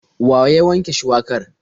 Wa ya wanke shuwakar?